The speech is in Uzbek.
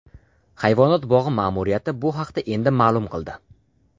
Hayvonot bog‘i ma’muriyati bu haqda endi ma’lum qildi.